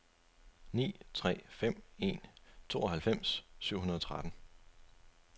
ni tre fem en tooghalvfems syv hundrede og tretten